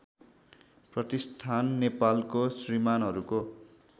प्रतिष्ठान नेपालको श्रमिकहरूको